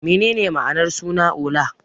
Menene ma'anar suna Ola?